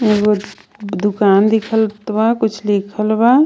एगो दुकान दिखत बा कुछ लिखल बा.